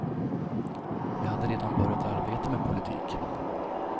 Jag hade redan börjat arbeta med politik.